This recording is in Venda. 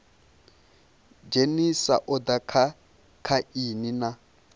dzhenisa oda kha aini na